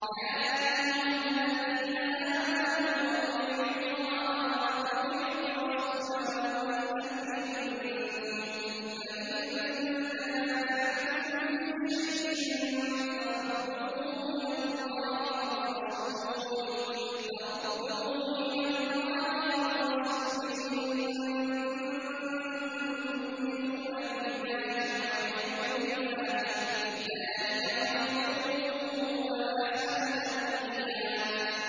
يَا أَيُّهَا الَّذِينَ آمَنُوا أَطِيعُوا اللَّهَ وَأَطِيعُوا الرَّسُولَ وَأُولِي الْأَمْرِ مِنكُمْ ۖ فَإِن تَنَازَعْتُمْ فِي شَيْءٍ فَرُدُّوهُ إِلَى اللَّهِ وَالرَّسُولِ إِن كُنتُمْ تُؤْمِنُونَ بِاللَّهِ وَالْيَوْمِ الْآخِرِ ۚ ذَٰلِكَ خَيْرٌ وَأَحْسَنُ تَأْوِيلًا